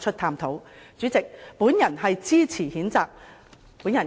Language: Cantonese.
代理主席，我謹此陳辭，支持譴責議案。